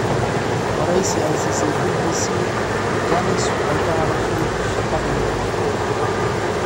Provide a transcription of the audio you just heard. Wareysi ay siisay BBC, Janice waxay ka hadashay shaqadeeda.